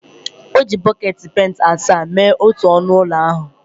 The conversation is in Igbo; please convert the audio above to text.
O ji bọket penti asaa mee otu ọnụ ụlọ ahụ